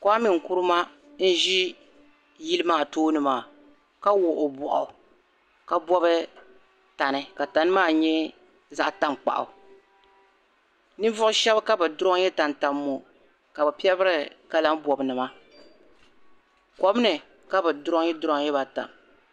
Kuami N-Kuruma n-ʒi yili maa tooni maa ka wuɣ' o bɔɣu ka bɔbi tani ka tani maa nye zaɣ'tankpaɣu ninvuɣ'shɛba ka bɛ drɔɔnyi tam tam ŋo ka bɛ pɛbira kalabɔnnima kom ni ka bɛ drɔɔnyi drɔɔnyi ba tam